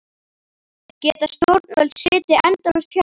Geta stjórnvöld setið endalaust hjá?